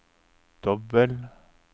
dobbel